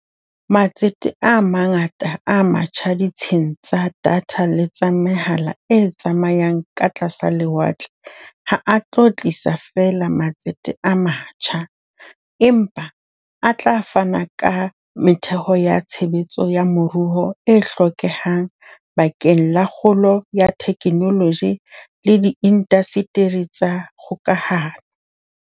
Matsete a mangata a matjha ditsheng tsa datha le tsa mehala e tsamayang ka tlasa lewatle ha a tlo tlisa feela matsete a matjha, empa a tla fana le ka metheo ya tshebetso ya moruo e hlokehang bakeng la kgolo ya theknoloji le diindasteri tsa dikgokahano.